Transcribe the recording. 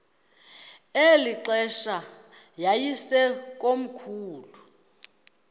eli xesha yayisekomkhulu